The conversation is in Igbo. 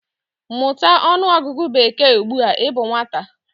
Mụta ọnụọgụgụ bekee ugbu a ị bụ nwata!